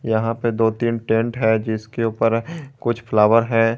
यहां पे दो तीन टेंट है जिसके ऊपर कुछ फ्लावर है।